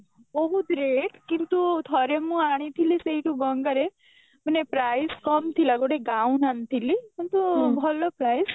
ବହୁତ rate କିନ୍ତୁ ଥରେ ମୁଁ ଆଣିଥିଲି ସେଇଠୁ ଗଙ୍ଗାରୁ ମାନେ price କମ ଥିଲା ଗୋଟେ gown ଆଣିଥିଲି କିନ୍ତୁ ଭଲ price